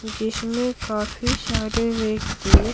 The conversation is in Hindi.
जिसमें काफी सारे व्यक्ति--